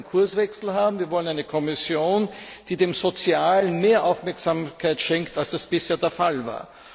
Wir wollen einen Kurswechsel haben, wir wollen eine Kommission, die dem Sozialen mehr Aufmerksamkeit schenkt, als das bisher der Fall war!